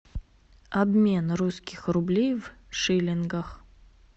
обмен русских рублей в шиллингах